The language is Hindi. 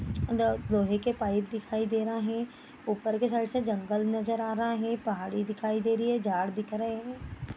दो लोहे के पाइप दिखाई दे रहें ऊपर की साइड से जंगल नजर आ रहा है पहाड़ी दिखाई दे रही है झाड़ दिख रहे हैं।